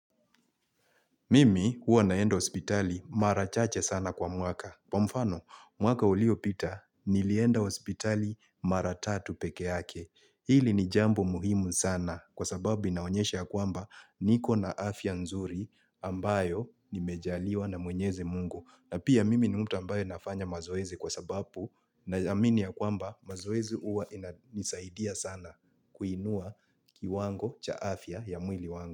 Mimi huwa naenda hospitali mara chache sana kwa mwaka. Kwa mfano, mwaka uliopita, nilienda hospitali mara tatu pekeake. Hili ni jambo muhimu sana kwa sababu inaonyesha ya kwamba niko na afya nzuri ambayo nimejaliwa na mwenyezi mungu. Na pia mimi ni mtu ambaye nafanya mazoezi kwa sababu naamini ya kwamba mazoezi huwa inanisaidia sana kuinua kiwango cha afya ya mwili wangu.